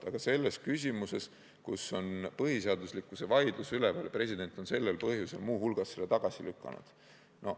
Aga see pole kohane küsimuses, kus on üleval põhiseaduslikkuse vaidlus, nii et president on muu hulgas sellel põhjusel selle normi tagasi lükanud.